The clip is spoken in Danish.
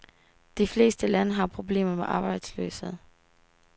De fleste lande har problemer med arbejdsløshed.